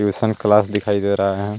Tuition class दिखाई दे रहा हे.